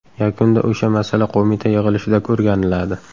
Yakunda o‘sha masala qo‘mita yig‘ilishida o‘rganiladi.